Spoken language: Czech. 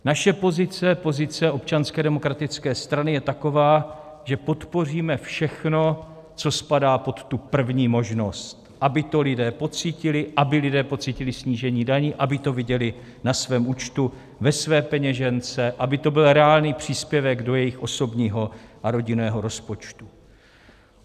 Naše pozice, pozice Občanské demokratické strany, je taková, že podpoříme všechno, co spadá pod tu první možnost, aby to lidé pocítili, aby lidé pocítili snížení daní, aby to viděli na svém účtu, ve své peněžence, aby to byl reálný příspěvek do jejich osobního a rodinného rozpočtu.